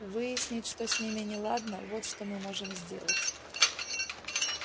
выяснить что с ними неладно вот что мы можем сделать